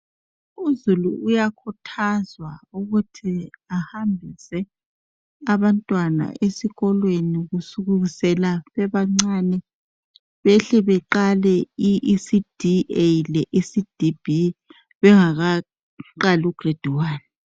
Uzulu uyakhuthazwa ukuthi ahambise abantwana esikolweni kusukisela bebancane behle beqale i "ECD-A" lo "ECD-B" bengakaqali u "Grade-1".